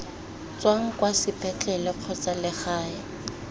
tswang kwa sepetlele kgotsa legae